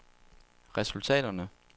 resultaterne